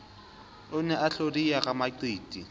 o ne a hlodiya ramaqiti